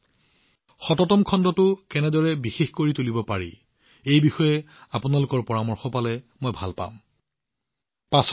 আমি ১০০ তম খণ্ডত কি কথা পাতিব লাগে আৰু ইয়াক কেনেদৰে বিশেষ কৰিব লাগে এই সন্দৰ্ভত আপোনালোকে মোলৈ আপোনাৰ পৰামৰ্শ প্ৰেৰণ কৰাটো মই বিচাৰিছো